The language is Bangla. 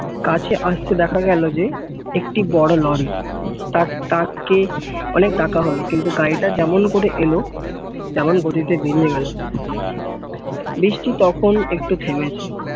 কাছে আসতে দেখা গেল যে একটি বড় লরি তার তাকে অনেক ডাকা হল কিন্তু গাড়িটা যেমন করে এলো তেমন করে বৃষ্টি তখন একটু থেমেছে